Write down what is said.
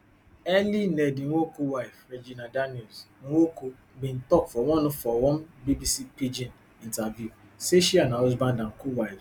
early ned nwoko wife regina daniels nwoko bin tok for one for one bbc pidgin interview say she and her husband and co wives